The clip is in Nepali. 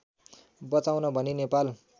बचाउन भनी नेपाल